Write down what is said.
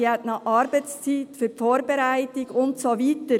Sie hat noch Arbeitszeit für die Vorbereitung und so weiter.